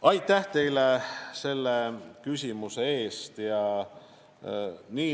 Aitäh teile selle küsimuse eest!